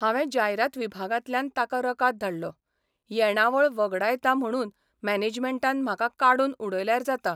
हावें जायरात विभागांतल्यान ताका रकाद धाडलो 'येणावळ वगडायतां म्हणून मॅनेजमँटान म्हाका काडून उडयल्यार जाता.